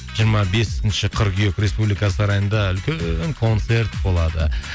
жиырма бесінші қыркүйек республика сарайында үлкен концерт болады